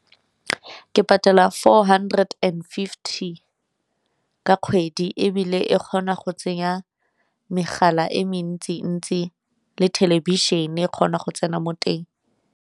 Ke patela four hundred and fifty ka kgwedi, ebile e kgona go tsenya megala e mentsi-ntsi le thelebišene e kgona go tsena mo teng.